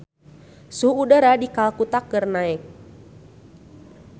Suhu udara di Kalkuta keur naek